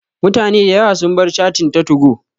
Mutane da yawa sun bar cattin ta 2go